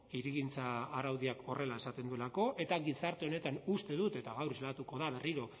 hirigintza araudiak horrela esaten duelako eta gizarte honetan uste dut eta gaur islatuko da berriro